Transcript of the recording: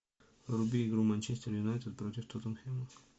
вруби игру манчестер юнайтед против тоттенхэма